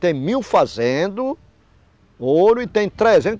Tem mil fazendo ouro e tem